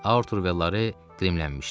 Artur və Laridə qrimlədilər.